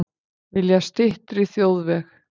Vilja styttri þjóðveg